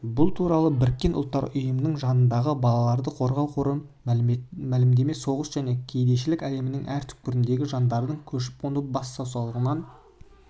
бұл туралы біріккен ұлттар ұйымының жанындағы балаларды қорғау қоры мәлімдеді соғыс пен кедейшілік әлемнің әр түпкіріндегі жандардың көшіп-қонып бас сауғалауына түрткі